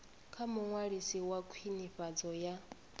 kha muṅwalisi wa khwinifhadzo ya